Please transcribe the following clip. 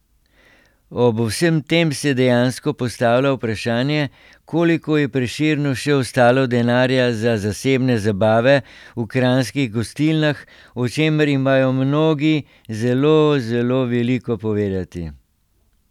Ob vsem tem se dejansko postavlja vprašanje, koliko je Prešernu še ostalo denarja za zasebne zabave v kranjskih gostilnah, o čemer imajo mnogi zelo, zelo veliko povedati.